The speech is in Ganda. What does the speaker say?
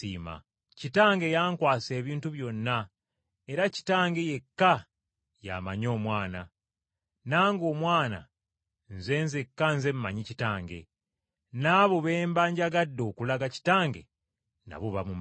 “Kitange yankwasa ebintu byonna era Kitange yekka y’amanyi Omwana, nange Omwana Nze nzekka Nze mmanyi Kitange, n’abo Omwana b’aba ayagadde okulaga Kitaawe nabo bamumanyi.”